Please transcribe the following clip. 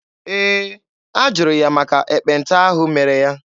Ee, a jụrụ ya maka ekpenta ahụ mere ya.